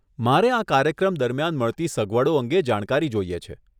મારે આ કાર્યક્રમ દરમિયાન મળતી સગવડો અંગે જાણકારી જોઈએ છે.